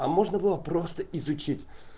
а можно было просто изучить